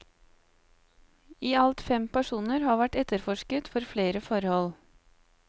I alt fem personer har vært etterforsket for flere forhold.